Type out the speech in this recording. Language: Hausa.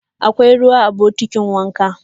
Akwai ruwa a bokitin wanka?